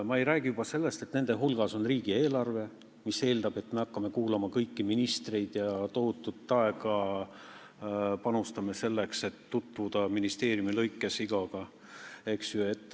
Ma ei räägi sellest, et nende hulgas on riigieelarve, mis eeldab, et me kuulame ära kõik ministrid ja panustame tohutult aega selleks, et tutvuda iga ministeeriumiga.